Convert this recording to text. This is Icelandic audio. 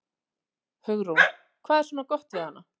Hugrún: Hvað er svona gott við hana?